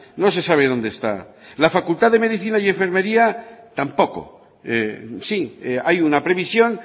no se sabe dónde está la facultad de medicina y enfermería tampoco sí hay una previsión